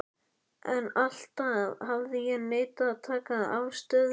En alltaf hafði ég neitað að taka afstöðu.